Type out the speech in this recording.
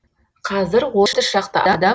қазір отыз шақты адам